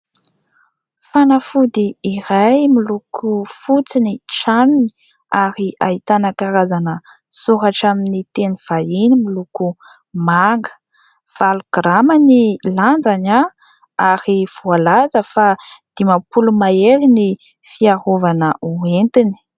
Fanafody iray miloko fotsy ny tranony ary ahitana karazana soratra amin'ny teny vahiny miloko manga. Valo girama ny lanjany ary voalaza fa dimampolo mahery ny fiarovana hoentiny.